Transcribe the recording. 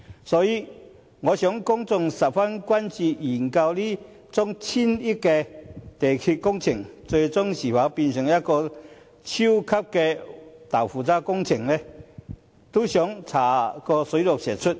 所以，我想公眾十分關注究竟這宗千億元鐵路工程，最終會否變成超級豆腐渣工程，想查個水落石出。